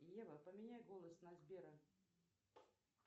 ева поменяй голос на сбера